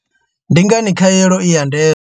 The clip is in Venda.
Ndi ngani khaelo i ya ndeme?